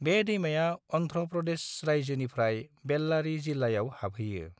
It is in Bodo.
बे दैमाआ अन्ध्र प्रदेश रायजोनिफ्राय बेल्लारि जिल्लायाव हाबहैयो।